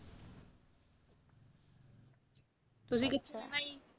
ਤੁਸੀਂ ਕਿੱਥੇ ਜਾਣਾ ਜੀ